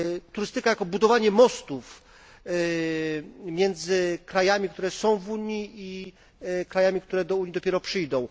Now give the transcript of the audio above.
Turystyka jako budowanie mostów między krajami, które są w Unii, i krajami, które do Unii dopiero przyjdą.